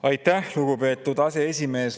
Aitäh, lugupeetud aseesimees!